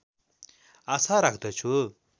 आशा राख्दछु